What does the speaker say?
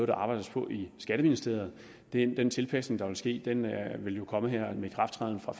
der arbejdes på i skatteministeriet den tilpasning der vil ske vil jo komme her med ikrafttræden fra